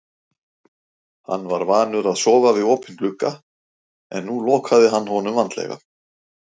Hann var vanur að sofa við opinn glugga en nú lokaði hann honum vandlega.